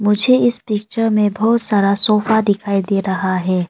मुझे इस पिक्चर में बहुत सारा सोफा दिखाई दे रहा है।